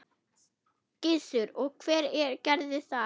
Gissur: Og hver gerði það?